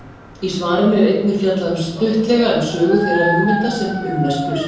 Í svarinu er einnig fjallað stuttlega um sögu þeirra hugmynda sem um er spurt.